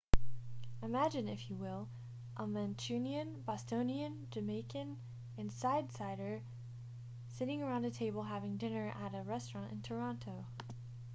imagine if you will a mancunian bostonian jamaican and sydneysider sitting around a table having dinner at a restaurant in toronto